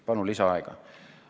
Palun lisaaega!